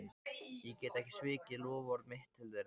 Ég get ekki svikið loforð mitt til þeirra.